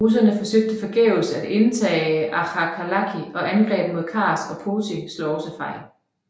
Russerne forsøgt forgæves at indtage Akhalkalaki og angreb mod Kars og Poti slog også fejl